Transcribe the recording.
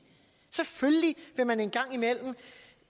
selvfølgelig vil man en gang imellem